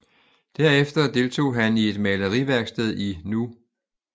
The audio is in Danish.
Derefter deltog han i et maleriværksted i nu